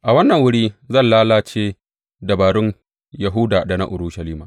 A wannan wuri zan lalace dabarun Yahuda da na Urushalima.